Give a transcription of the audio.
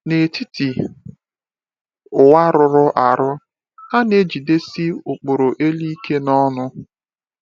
N’etiti ụwa rụrụ arụ, ha na-ejidesi ụkpụrụ elu ike n’ọṅụ.